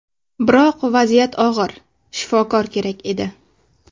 Biroq vaziyat og‘ir, shifokor kerak edi.